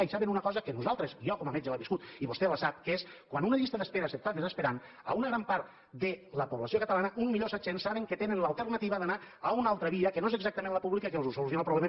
i saben una cosa que nosaltres jo com a metge ho he viscut i vostè la sap que és quan una llista d’espera s’està desesperant una gran part de la població catalana un coma set milions saben que tenen l’alternativa d’anar a una altra via que no és exactament la pública que els soluciona el problema